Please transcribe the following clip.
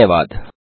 धन्यवाद